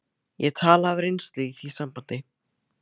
Ég tala af reynslu í því sambandi.